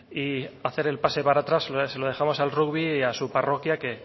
y hacer el pase para atrás se lo dejamos al rugby y a su parroquia que